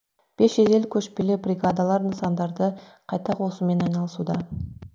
бес жедел көшпелі бригадалар нысандарды қайта қосумен айналысуда